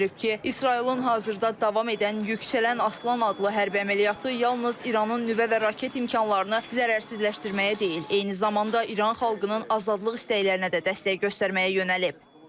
İsrailin hazırda davam edən Yüksələn Aslan adlı hərbi əməliyyatı yalnız İranın nüvə və raket imkanlarını zərərsizləşdirməyə deyil, eyni zamanda İran xalqının azadlıq istəklərinə də dəstək göstərməyə yönəlib.